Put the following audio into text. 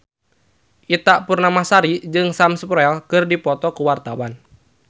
Ita Purnamasari jeung Sam Spruell keur dipoto ku wartawan